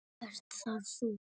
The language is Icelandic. Ert það þú?